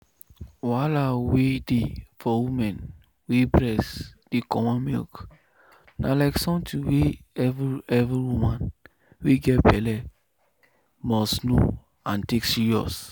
wahala wey dey for woman wey breast dey comot milk na like something wey every every woman wey get belle must know and take serious.